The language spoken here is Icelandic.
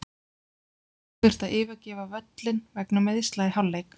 Rafael þurfti að yfirgefa völlinn vegna meiðsla í hálfleik.